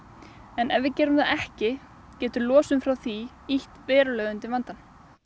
en ef við gerum það ekki getur losun frá því ýtt verulega undir vandann